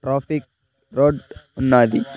Traffic road ఉన్నాది .]